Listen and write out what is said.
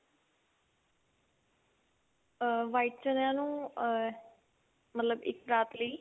white ਚ੍ਨਿਆ ਨੂੰ ਅਹ ਮਤਲਬ ਇੱਕ ਰਾਤ ਲਈ